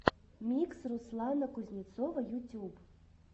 микс руслана кузнецова ютюб